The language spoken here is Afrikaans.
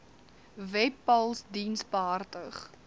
webpals diens behartig